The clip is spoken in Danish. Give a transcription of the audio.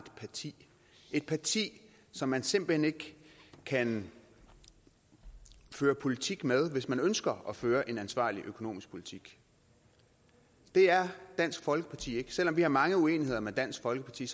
parti et parti som man simpelt hen ikke kan føre politik med hvis man ønsker at føre en ansvarlig økonomisk politik det er dansk folkeparti ikke selv om vi har mange uenigheder med dansk folkeparti